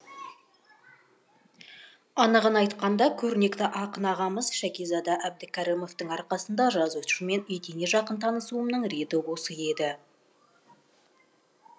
анығын айтқанда көрнекті ақын ағамыз шәкизада әбдікәрімовтың арқасында жазушымен етене жақын танысуымның реті осы еді